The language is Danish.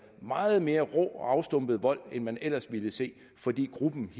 meget mere rå og afstumpet vold end man ellers ville se fordi gruppens